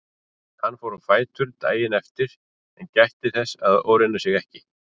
Hann fór á fætur daginn eftir en gætti þess að ofreyna sig ekki.